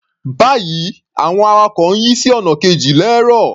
Báyìí, àwọn awakọ̀ ń yí sí ọ̀nà kejì lẹ́ẹ́rọ̀.